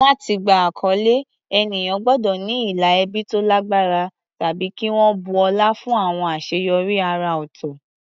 Láti gba àkọlé, ènìyàn gbọ́dọ̀ ní ìlà ẹbí tó lágbára tàbí kí wọ́n bu ọlá fún àwọn àṣeyọrí àrà ọ̀tọ̀.